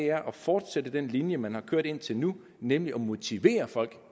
er at fortsætte den linje man har kørt indtil nu nemlig motivere folk